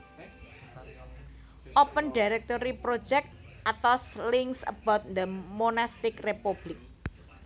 Open Directory Project Athos Links about the monastic republic